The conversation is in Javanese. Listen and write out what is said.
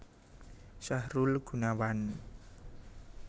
Sahrul Gunawan